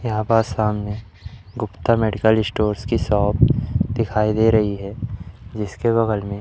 यहां पास सामने गुप्ता मेडिकल स्टोर्स की शॉप दिखाई दे रही है जिसके बगल में--